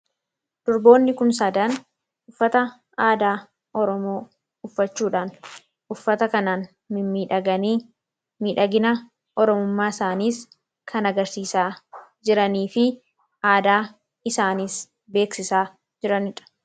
Durboonni kun sadaan uffata aadaa oromoo uffachuudhaan uffata kanaan miidhagani; miidhagina oromummaa isaaniis kan agarsiisaa jiranii fi aadaa isaaniis beeksisaa jiranidha.